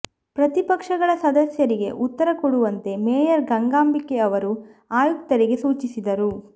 ಪ್ರತಿಪಕ್ಷಗಳ ಸದಸ್ಯರಿಗೆ ಉತ್ತರ ಕೊಡುವಂತೆ ಮೇಯರ್ ಗಂಗಾಂಬಿಕೆ ಅವರು ಆಯುಕ್ತರಿಗೆ ಸೂಚಿಸಿದರು